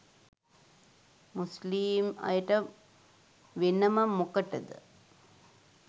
මුස්ලීම් අයට වෙනම මොකටද?